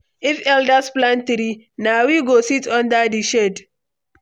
If elders plant tree, na we go sit under the shade.